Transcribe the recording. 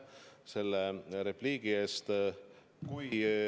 Aitäh selle repliigi eest!